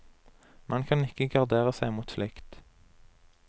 Man kan ikke gardere seg mot slikt.